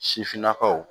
Sifinnakaw